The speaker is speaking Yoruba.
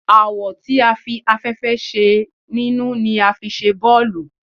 Awọ tí a fẹ́ afẹ́fẹ́ sí nínú ni a fi ṣe bọ́ọ̀lù